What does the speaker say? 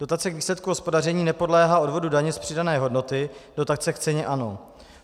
Dotace k výsledku hospodaření nepodléhá odvodu daně z přidané hodnoty, dotace k ceně ano.